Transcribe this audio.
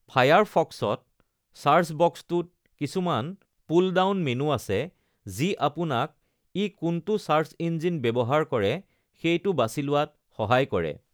ফায়াৰফক্সত, search বক্সটোত কিছুমান pull down menu আছে যি আপোনাক ই কোনটো ছাৰ্চ ইঞ্জিন ব্যৱহাৰ কৰে সেইটো বাছি লোৱাত সহায় কৰে।